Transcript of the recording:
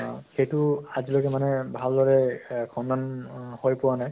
আ সেইটো আজিলৈকে মানুহে ভালদৰে এহ মানুহে সন্ধান অহ হৈ পোৱা নাই ।